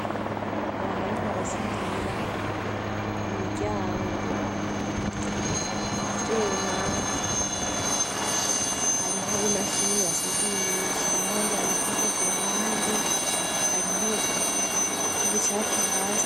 Abantu bariko barasudira imiryango mu vyuma hariho imashini basudirisha hari abandi bantu hirya ku ruhande hariho ubucafu hasi.